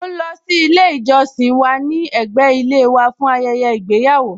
Mọ ń lọ sí ilé ìjọsìn tí ó wà ní ẹ̀gbẹ́ ilé wa fún ayẹyẹ ìgbéyàwó